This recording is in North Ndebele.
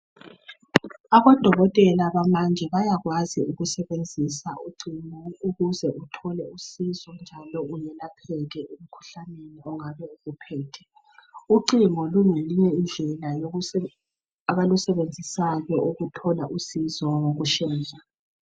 Abodokotela bamanje bayakwazi ukusebenzisa ucingo ukuze uthole usizo njalo uyelapheke emikhuhlaneni ongabe ukuphethe. Ucingo lungeyinye indlela abalusebenzisayo ukuthola usizo ngokushesha.